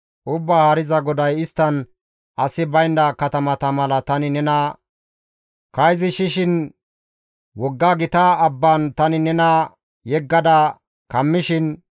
«Ubbaa Haariza GODAY, ‹Isttan asi baynda katamata mala tani nena kayzisishin, wogga gita abban tani nena yeggada kammishin,